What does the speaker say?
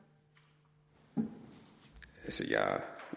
og